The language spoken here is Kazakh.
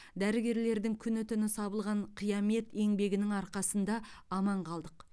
дәрігерлердің күні түні сабылған қиямет еңбегінің арқасында аман қалдық